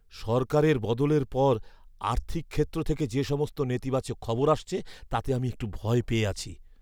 সরকারের বদলের পর আর্থিক ক্ষেত্র থেকে যে সমস্ত নেতিবাচক খবর আসছে, তাতে আমি একটু ভয় পেয়ে আছি।